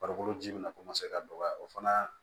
Farikolo ji min bɛ na ka dɔgɔya o fana